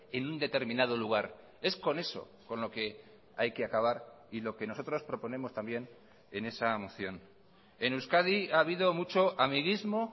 en un determinado lugar es con eso con lo que hay que acabar y lo que nosotros proponemos también en esa moción en euskadi ha habido mucho amiguismo